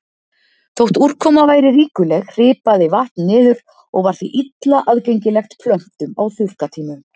Þótt úrkoma væri ríkuleg hripaði vatn niður og var því illa aðgengilegt plöntum á þurrkatímum.